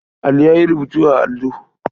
Ali ya yi rubutu a allo.